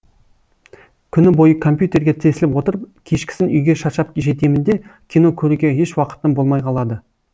күні бойы компьютерге тесіліп отырып кешкісін үйге шаршап жетемін де кино көруге еш уақытым болмай қалады